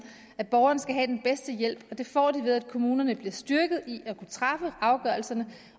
at borgeren skal have den bedste hjælp og det får de ved at kommunerne bliver styrket i at kunne træffe afgørelserne